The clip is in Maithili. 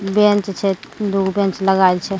बैंच छै दुगो बैंच लगाएल छै ।